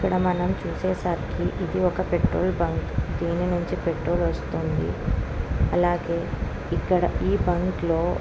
ఇక్కడ మనం చూసే సరికి ఇది ఒక్క పెట్రోల్ బంక్ . దీని నుంచి పెట్రోల్ వస్తుంది. అలాగే ఇక్కడ ఈ బంక్ లో --